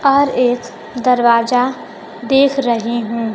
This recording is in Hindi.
और एक दरवाजा देख रहे हैं।